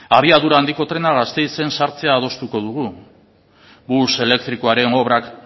abiadura handiko trena gasteizen sartzea adostuko dugu bus elektrikoaren obrak